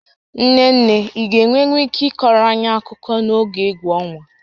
Nne nne, ị ga-enwenwu ike ịkọọrọ anyị akụkọ n'oge égwú ọnwa?